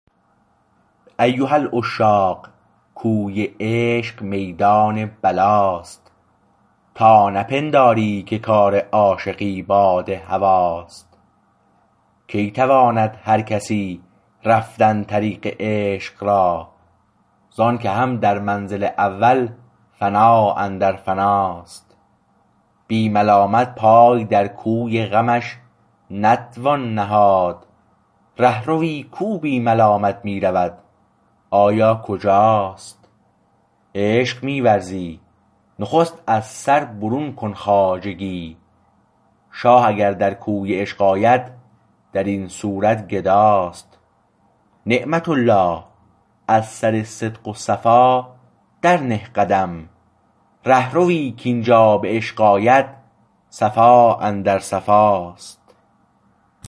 ایها العشاق کوی عشق میدان بلا است تا نپنداری که کار عاشقی باد هوا است کی تواند هر کسی رفتن طریق عشق را ز انکه هم در منزل اول فنا اندر فنا است بی ملامت پای در کوی غمش نتوان نهاد رهروی کو بی ملامت می رود آیا کجا است عشق می ورزی نخست از سر برون کن خواجگی شاه اگر در کوی عشق آید در این صورت گدا است نعمت الله از سر صدق و صفا در نه قدم ره روی کاینجا به عشق آید صفا اندر صفا است